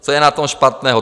Co je na tom špatného?